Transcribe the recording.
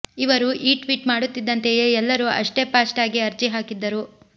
ಇವರು ಈ ಟ್ವೀಟ್ ಮಾಡುತ್ತಿದ್ದಂತೆಯೇ ಎಲ್ಲರೂ ಅಷ್ಟೇ ಫಾಸ್ಟ್ ಆಗಿ ಅರ್ಜಿ ಹಾಕಿದ್ದರು